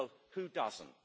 Well, who doesn't?